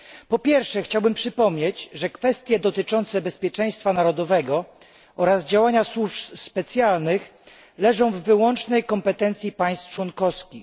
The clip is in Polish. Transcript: Po pierwsze, chciałbym przypomnieć, że kwestie dotyczące bezpieczeństwa narodowego oraz działania służb specjalnych leżą w wyłącznej kompetencji państw członkowskich.